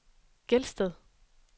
Gelsted